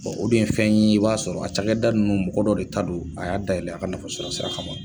o dun ye fɛn ye, i b'a sɔrɔ a cakɛda nunnu mɔgɔ dɔ de ta don, a y'a dayɛlɛ a ka nafa sɔrɔ sira kama